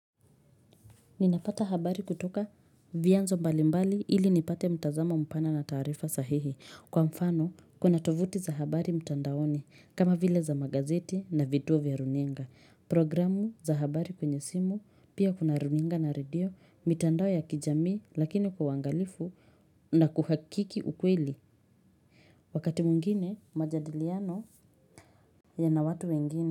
Ninapata habari kutoka vyanzo mbali mbali ili nipate mtazama mpana na tarifa sahihi. Kwa mfano, kuna tovuti za habari mtandaoni, kama vile za magazeti na vituo vya runinga. Programu za habari kwenye simu, pia kuna runinga na radio, mitandao ya kijamii lakini kwa uangalifu na kuhakiki ukweli. Wakati mwingine majadiliano yana watu wengine.